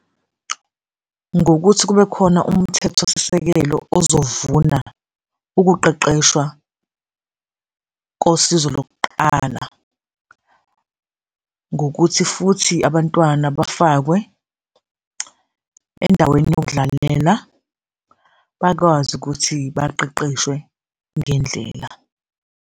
Ngokuthi kube khona umthethosisekelo ozovuna ukuqeqeshwa kosizo lokuqala, ngokuthi futhi abantwana bafakwe endaweni yokudlalela, bakwazi ukuthi baqeqeshwe ngendlela.